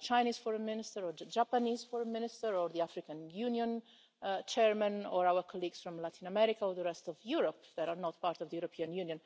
Chinese Foreign Minister or the Japanese Foreign Minister or the African Union Chairman or our colleagues from Latin America or the rest of Europe that are not part of the European Union.